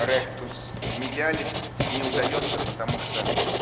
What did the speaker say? ректус медиалис не удаётся потому что